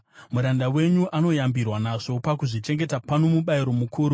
Muranda wenyu anoyambirwa nazvo; pakuzvichengeta pano mubayiro mukuru.